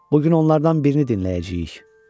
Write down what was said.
Bu gün onlardan birini dinləyəcəyik.